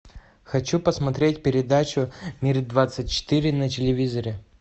хочу посмотреть передачу мир двадцать четыре на телевизоре